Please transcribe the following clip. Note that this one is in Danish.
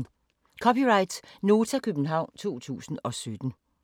(c) Nota, København 2017